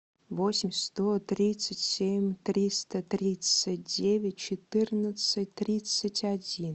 восемь сто тридцать семь триста тридцать девять четырнадцать тридцать один